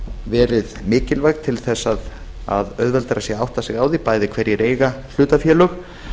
verið mikilvæg til þess að auðveldara sé að átta sig á því bæði hverjir eiga hlutafélög